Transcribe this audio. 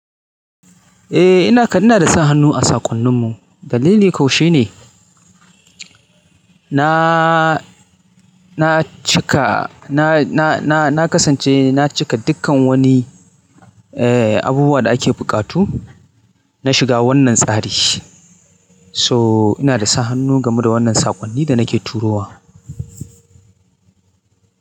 Eh ina kan inada sa hannu a saƙonnin mu. Kalili kau shine. Na, -na cika na,- na,- na, -na kasance na cika dukkan wani, eh, abubuwa da ake buƙatu. Na shiga wannan tsari so inada sa hannu game da wannan saƙonni da nake turowa.